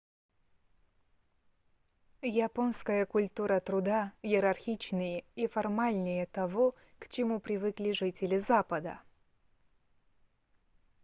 японская культура труда иерархичнее и формальнее того к чему привыкли жители запада